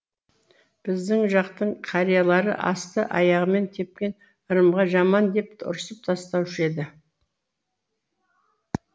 біздің жақтың қариялары асты аяғымен тепкен ырымға жаман деп ұрсып тастаушы еді